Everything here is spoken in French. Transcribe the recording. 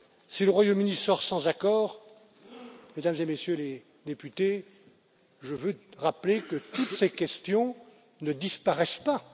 Si le Royaume Uni sort sans accord, Mesdames et Messieurs les députés, je veux rappeler que toutes ces questions ne disparaissent pas.